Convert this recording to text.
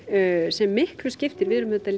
sem miklu skiptir við erum auðvitað